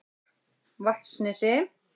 Vatnsnesi